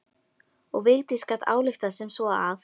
Og Vigdís gat ályktað sem svo að